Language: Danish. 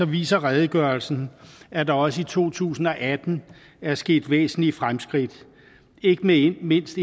viser redegørelsen at der også i to tusind og atten er sket væsentlige fremskridt ikke mindst mindst